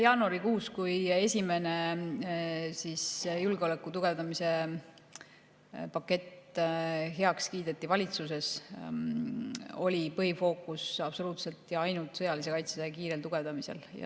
Jaanuarikuus, kui esimene julgeoleku tugevdamise pakett valitsuses heaks kiideti, oli põhifookus absoluutselt ja ainult sõjalise kaitse kiirel tugevdamisel.